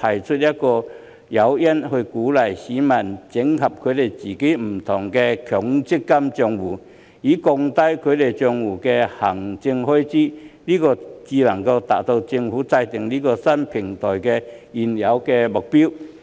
提供一些誘因，鼓勵市民整合自己不同的強積金帳戶，以降低其帳戶的行政開支，這樣才能達致政府建立這個新平台的原有目標。